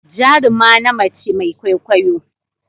Jaruma na mace Mai kwaikwayo.